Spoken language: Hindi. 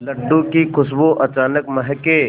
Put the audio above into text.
लड्डू की खुशबू अचानक महके